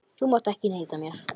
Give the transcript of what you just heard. Þú mátt ekki neita mér.